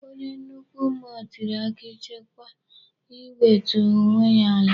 Onye nnukwu mmụọ tiri akị chetakwa iwetu onwe ya ala.